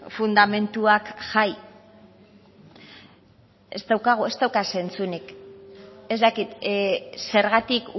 fundamentuak jai ez daukagu ez dauka zentsurik ez dakit zergatik